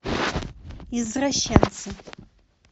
извращенцы